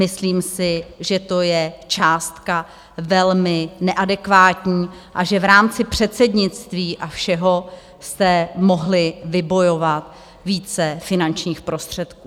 Myslím si, že to je částka velmi neadekvátní a že v rámci předsednictví a všeho jste mohli vybojovat více finančních prostředků.